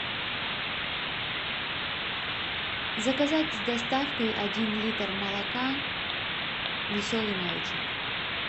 заказать с доставкой один литр молока веселый молочник